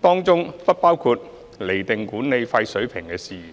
當中不包括釐定管理費水平的事宜。